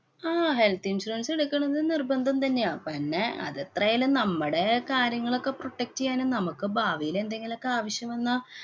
ആഹ് health insurance എടുക്കണം ന്ന് നിര്‍ബന്ധം തന്നെയാ. പന്നെ അത് എത്രയായാലും നമ്മടെ കാര്യങ്ങളൊക്കെ protect ചെയ്യാനും, നമ്മക്ക് ഭാവിയിലെന്തെങ്കിലൊക്കെ ആവശ്യം വന്നാ